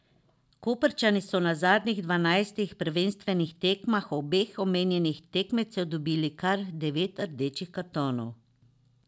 Koprčani so na zadnjih dvanajstih prvenstvenih tekmah obeh omenjenih tekmecev dobili kar devet rdečih kartonov.